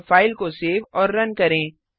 अब फाइल को सेव और रन करें